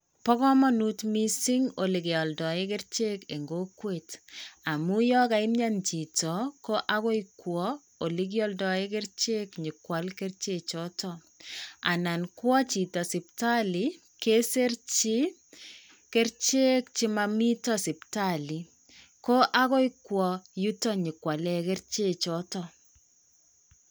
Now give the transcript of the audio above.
Bo kamanut mising olekealdaee kerichek eng kokwet amuu yakaimnyan chito ko agoi kwo ole kialdaee kerichek nyo kwal kerichechto. Anan kwa chito siptali kesirchi kerichek che momito siptali ko agoi kwa yuto nyi kwale kerichechoto.